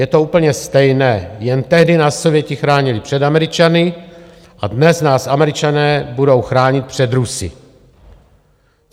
Je to úplně stejné, jen tehdy nás Sověti chránili před Američany a dnes nás Američané budou chránit před Rusy.